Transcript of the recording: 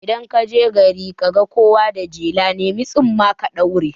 Idan kaje gari kaga kowa da jela, nemi tsumma ka ɗaura